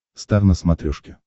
стар на смотрешке